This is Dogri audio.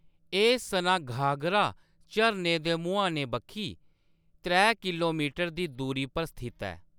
एह्‌‌ सनाघागरा झरने दे मुहाने बक्खी त्रै किल्लोमीटर दी दूरी पर स्थित ऐ।